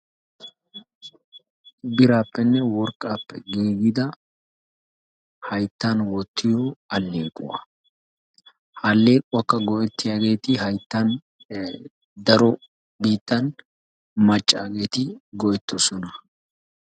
Biraappenne worqqaappe giigiya hayttan wottiyo alleequwa. Ha alleequwakka go"ettiyageeti hayttan daro biittan maccaageeti go"ettoosona.